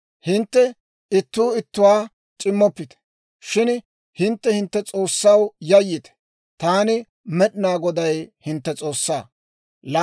Hintte ittuu ittuwaa c'immoppite; shin hintte hintte S'oossaw yayyite. Taani Med'inaa Goday, hintte S'oossaa.